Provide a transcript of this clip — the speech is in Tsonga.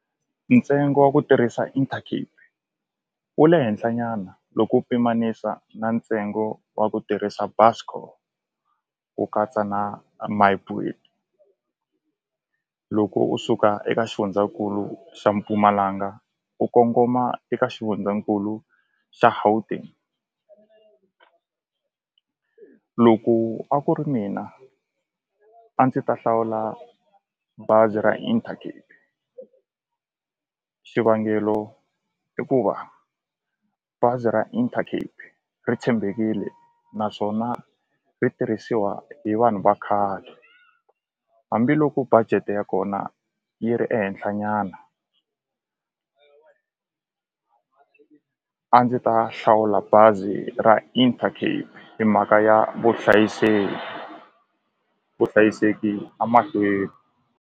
Ntsengo wa ku tirhisa Intercape wu le henhla nyana loko u pimanisa na ntsengo wa ku tirhisa Buscor ku katsa na My Boet loko u suka eka xifundzankulu xa Mpumalanga u kongoma eka xifundzankulu xa Gauteng loko a ku ri mina a ndzi ta hlawula bazi ra Intercape xivangelo i ku va bazi ra Intercape ri tshembekile naswona ri tirhisiwa hi vanhu va khale hambiloko budget ya kona yi ri ehenhla nyana a ndzi ta hlawula bazi ra Intercape hi mhaka ya vuhlayiseki vuhlayiseki a mahlweni.